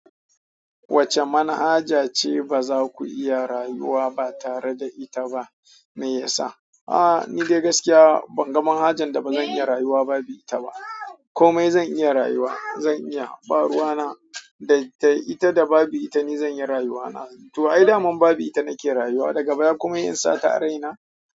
Wacce manhaja ce ba za ku iya rayuwa ba tare da ita ba meyasa? A'a, ni dai gaskiya ban ga manhajan da bazan iya rayuwa babu ita ba. Komai zan iya rayuwa. Zan iya, baruwa na da ita da babu ita ni zan yi rayuwa na. To ai daman babu ita nake rayuwa daga baya kuma yinsa ta a raina.